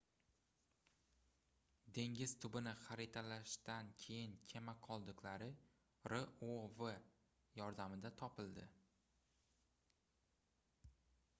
dengiz tubini xaritalashdan keyin kema qoldiqlari rov yordamida topildi